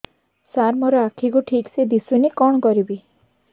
ସାର ମୋର ଆଖି କୁ ଠିକସେ ଦିଶୁନି କଣ କରିବି